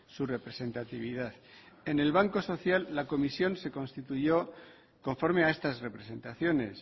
su representatividad en el banco social la comisión se constituyó conforme a estas representaciones